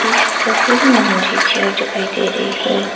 इस तस्वीर में मुझे चेयर दिखाई दे रही है।